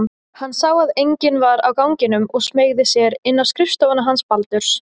Hann sá að enginn var á ganginum og smeygði sér inn á skrifstofuna hans Baldurs.